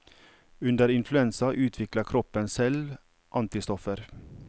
Under influensa utvikler kroppen selv antistoffer.